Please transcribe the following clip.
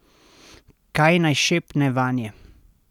Kaj naj šepne vanje?